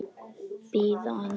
Bíðið aðeins!